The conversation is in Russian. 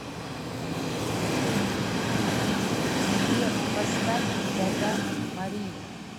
сбер поставь жада мари